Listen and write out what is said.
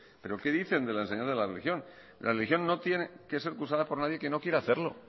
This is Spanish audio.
pero qué dicen de la enseñanza de la religión la religión no tiene que ser cursada por nadie que no quiera hacerlo